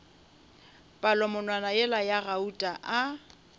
palamonwana yela ya gauta a